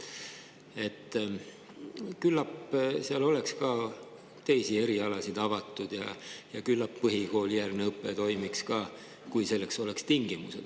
Küllap seal oleks ka teisi erialasid avatud ja küllap põhikoolijärgne õpe toimuks ka, kui selleks oleks tingimused.